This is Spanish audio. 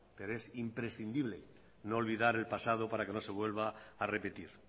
pero es imprescindible no olvidar el pasado para que no se vuelva a repetir